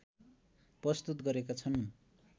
प्रस्तुत गरेका छन्।